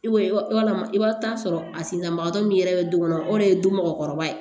Walama i bɛ taa sɔrɔ a sen dabagatɔ min yɛrɛ bɛ don o de ye don mɔgɔkɔrɔba ye